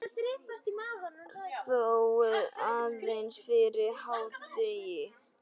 Þó aðeins fyrir hádegi.